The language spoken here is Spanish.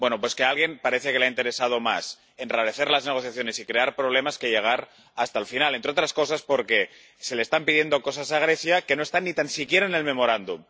Pues que a alguien parece que le ha interesado más enrarecer las negociaciones y crear problemas que llegar hasta el final, entre otras cosas porque se le están pidiendo cosas a Grecia que no están ni tan siquiera en el memorándum.